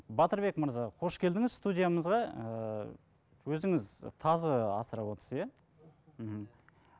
батырбек мырза қош келдіңіз студиямызға ыыы өзіңіз тазы асырап отырсыз иә мхм